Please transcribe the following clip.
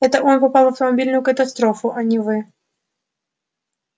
это он попал в автомобильную катастрофу а не вы